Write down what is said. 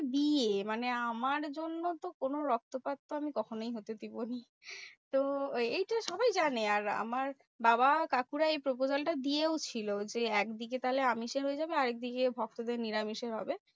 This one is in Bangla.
বিয়ে মানে আমার জন্য তো কোনো রক্তপাত তো আমি কখনোই হতে দেবোই না। তো এইটা সবাই জানে। আর আমার বাবা কাকুরা এই proposal টা দিয়েও ছিল যে, একদিকে তাহলে আমিষে হয়ে যাবে আরেকদিকে ভক্তদের নিরামিষে হবে।